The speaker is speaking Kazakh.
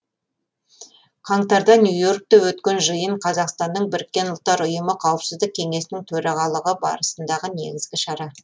қаңтарда нью и оркте өткен жиын қазақстанның біріккен ұлттар ұйымы қауіпсіздік кеңесінің төрағалығы барысындағы негізгі шара